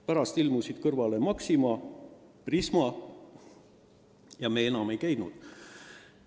Pärast ilmusid kõrvale Maxima ja Prisma ja me enam ei läinud väikestesse poodidesse.